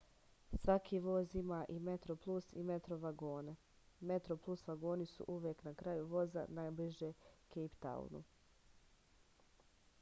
svaki voz ima i metroplus i metro vagone metroplus vagoni su uvek na kraju voza najbliže kejptaunu